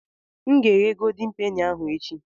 M ga-eghe goldin peni ahụ echi.